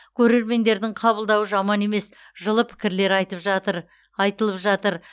көрермендердің қабылдауы жаман емес жылы пікірлер айтып жатыр айтылып жатыр